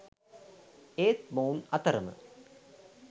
ඒත් මොවුන් අතරම